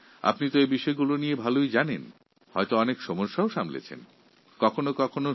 এদের সমস্যা সম্পর্কে আপনি ভালোভাবেই অবগত আছেন আর আপনি নিজেও নিশ্চয়ই অনেক সমস্যার সম্মুখীন হয়েছেন